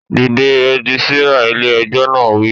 Dìde! Rẹ́gísírà ilé ẹjọ́ náà á wí